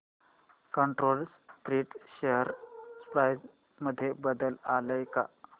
control Print share price मध्ये बदल आलाय का